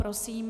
Prosím.